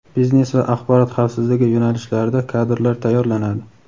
biznes va axborot xavfsizligi yo‘nalishlarida kadrlar tayyorlanadi.